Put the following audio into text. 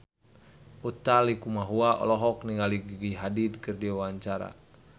Utha Likumahua olohok ningali Gigi Hadid keur diwawancara